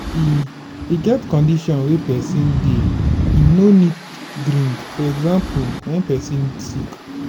e e get condition wey person dey im no need drink for example when person sick